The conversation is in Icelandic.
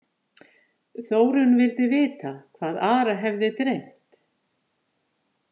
Þórunn vildi vita hvað Ara hefði dreymt.